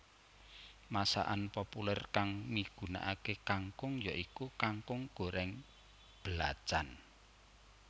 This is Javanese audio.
Masakan populèr kang migunakaké kangkung ya iku kangkung gorèng belacan